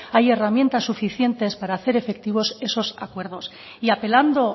hay herramientas suficientes para hacer efectivos esos acuerdos y apelando